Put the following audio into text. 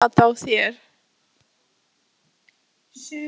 Hvað kom fyrir augað á þér?